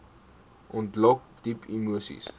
ontlok diep emoseis